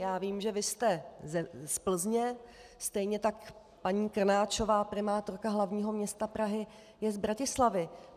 Já vím, že vy jste z Plzně, stejně tak paní Krnáčová, primátorka hlavního města Prahy, je z Bratislavy.